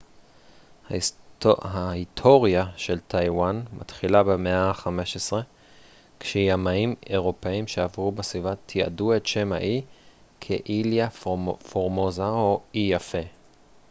ההיטוריה של טייוואן מתחילה במאה ה-15 כשימאים אירופאים שעברו בסביבה תיעדו את שם האי כ איליה פורמוזה או אי יפה